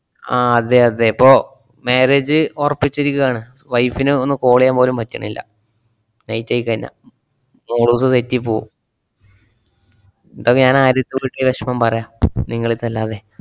ആഹ് അതേ അതേ ഇപ്പൊ marriage അ് ഒറപ്പിച്ചിരിക്കേണ്. wife നെ ഒന്ന് call ചെയ്യാൻപോലും പറ്റണില്ല. late ആയിക്കഴിഞ്ഞാ തെറ്റിപ്പോവും. ദൊക്കെ ഞാന്‍ ആരട്ത്താ വിളിച്ച് വെഷമം പറയ്യാ നിങ്ങളെടുത്തല്ലാതെ.